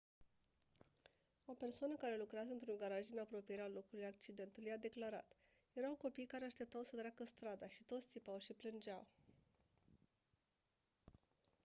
o persoană care lucrează într-un garaj din apropierea locului accidentului a declarat: «erau copii care așteptau să treacă strada și toți țipau și plângeau.».